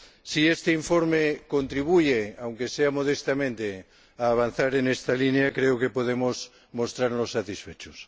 Si este informe contribuye, aunque sea modestamente, a avanzar en esta línea, creo que podemos mostrarnos satisfechos.